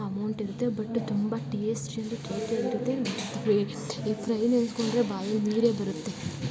Amount ಇರುತ್ತೆ but ತುಂಬಾ tasty ಅಂದ್ರೆ ಟೇಸ್ಟಿ ಯಾಗಿರುತ್ತೆ ಮತ್ತೆ ಈ ಫ್ರೈ ನೆನಸ್ಕೊಂಡ್ರೆ ಬಾಯಲ್ಲಿ ನೀರೇ ಬರುತ್ತೆ.